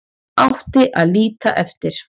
Átti að líta eftir